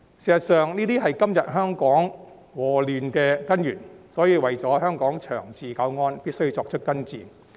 事實上，這是今天香港禍亂的根源，所以為了香港長治久安，必須作出根治。